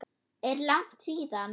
Er langt síðan?